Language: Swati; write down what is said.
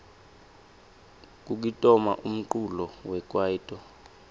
kukitona umculo wekwaito